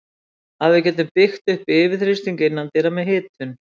Að við getum byggt upp yfirþrýsting innandyra með hitun.